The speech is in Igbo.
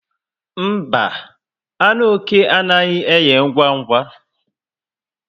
Mba, anụ oké anaghị eghe ngwa ngwa